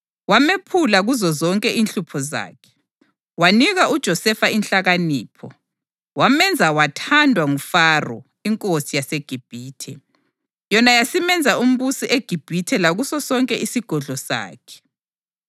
wamephula kuzozonke inhlupho zakhe. Wanika uJosefa inhlakanipho, wamenza wathandwa nguFaro, inkosi yaseGibhithe. Yona yasimenza umbusi eGibhithe lakuso sonke isigodlo sakhe.